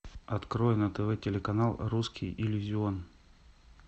открой на тв телеканал русский иллюзион